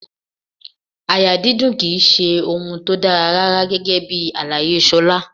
Àyà dídùn ki í ṣe ohun tó dára rárá gẹ́gẹ́bí àlàyé Ṣolá.